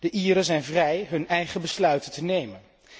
De Ieren zijn vrij hun eigen besluiten te nemen.